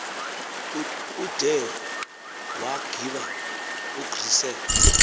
ude waggiba ugrissel